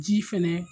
Ji fɛnɛ